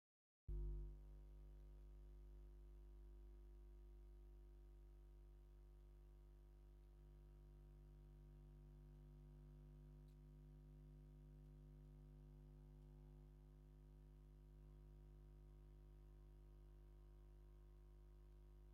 እዚ ብዝተፈላለየ ጽላሎት ቀጠልያ፡ ሐምላይን ቀይሕን ኮሚደረ ዝተመልአ ሳንዱቕ የርኢ። መብዛሕትኦም ገና ምሉእ ብምሉእ ዝበሰሉ ኣይመስሉን። ኣብቲ ሳንዱቕ ዘሎ ኮሚደረ እንታይ ሕብሪ ዘለዎ ይመስል?